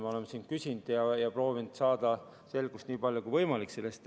Me oleme siin küsinud ja proovinud saada selle eelarve ridades selgust nii palju kui võimalik.